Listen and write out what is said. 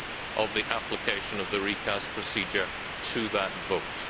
of the application of the recast procedure to that vote.